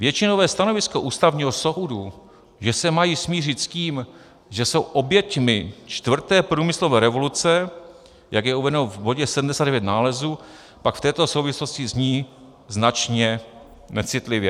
Většinové stanovisko Ústavního soudu, že se mají smířit s tím, že jsou oběťmi čtvrté průmyslové revoluce, jak je uvedeno v bodě 79 nálezu, pak v této souvislosti zní značně necitlivě.